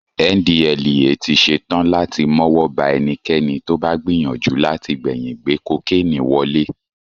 NDLEA ti ṣe tán láti mọ́wọ́ ba ẹnikẹ́ni tó bá gbìyànjú láti gbẹ̀yìn gbé kokénì wọlé